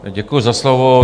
Děkuji za slovo.